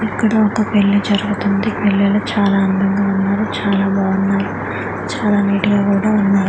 ఇక్కడ ఒక పెళ్లి జరుగుతుంది పిల్లలు చాలా అందంగా ఉన్నారు చాలా బాగున్నారూ చాలా నీట్ గా కూడా ఉన్నారు.